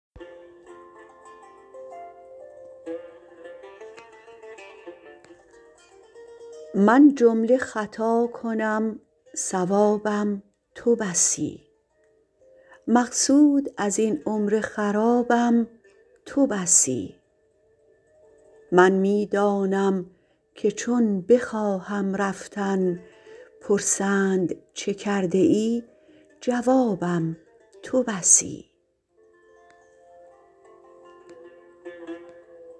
من جمله خطا کنم صوابم تو بسی مقصود از این عمر خرابم تو بسی من می دانم که چون بخواهم رفتن پرسند چه کرده ای جوابم تو بسی